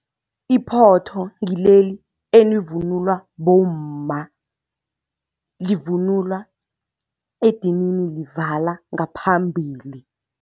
Iphotho ngileli elivunulwa bomma. Livunulwa edinini livala ngaphambili.